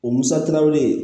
O musakaw bɛ yen